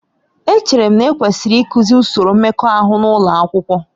Echere m na ekwesịrị ịkụzi usoro mmekọahụ n'ụlọ akwụkwọ